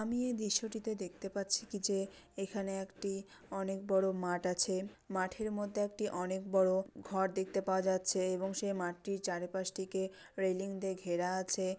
আমি এই দৃশ্যটিতে দেখতে পাচ্ছি কি যে এখানে একটি অনেক বড় মাঠ আছে মাঠের মধ্যে একটি অনেক বড় ঘর দেখতে পাওয়া যাচ্ছে এবং সে মাঠটির চারিপাশ থেকে রেলিং দিয়ে ঘেরা আছে।